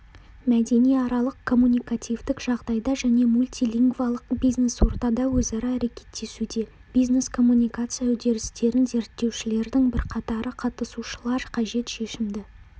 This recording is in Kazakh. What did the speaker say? мәдениаралық-коммуникативтік жағдайда және мультилингвалық бизнес ортада өзара әрекеттесуде бизнес-коммуникация үдерістерін зерттеушілердің бірқатары қатысушылар қажет шешімді